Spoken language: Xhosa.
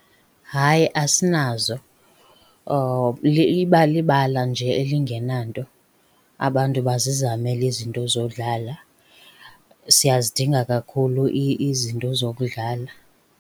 Hayi, asinazo. Iba libala nje elingenanto, abantu bazizamele izinto zodlala. Siyazidinga kakhulu izinto zokudlala.